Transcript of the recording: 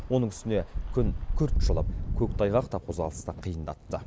оның үстіне күн күрт жылып көктайғақ та қозғалысты қиындатты